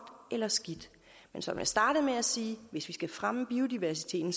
eller skidt men som jeg startede med at sige hvis vi skal fremme biodiversiteten